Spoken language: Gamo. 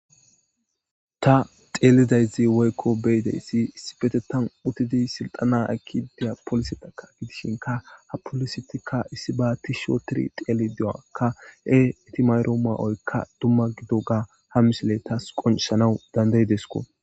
ta xeelidayzi woykko beyidayssi issibetetan utidi silxana ekki deya polisetaka gidishinka ha polisetikka issi baati shotiri xeeli dewakka e itimayro ma7oykka dumma gido gaa ha misile tas qonceshanawu dandayidesko